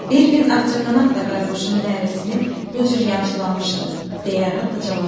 Bir gün ağcaqanad da qaraquşun nərəsini bu cür yamsılamışdı, deyə Rada cavab verdi.